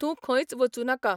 तूं खंयच वचू नाका.